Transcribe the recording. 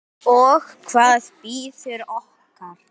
Og hvað bíður okkar?